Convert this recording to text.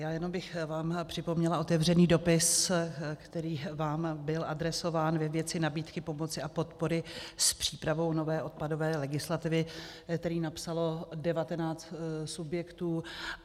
Já jenom bych vám připomněla otevřený dopis, který vám byl adresován ve věci nabídky pomoci a podpory s přípravou nové odpadové legislativy, který napsalo devatenáct subjektů.